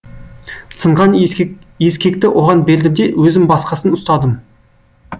сынған ескекті оған бердім де өзім басқасын ұстадым